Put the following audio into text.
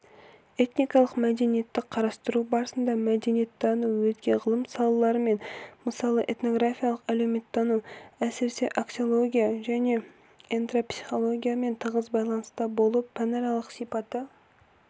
этникалық мәдениетті қарастыру барысында мәдениеттану өзге ғылым салаларымен мысалы этнография әлеуметтану әсіресе аксиология және этнопсихологиямен тығыз байланыста болып пәнаралық сипаты-